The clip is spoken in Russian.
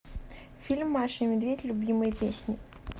фильм маша и медведь любимые песни